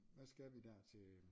Hvad skal vi der til?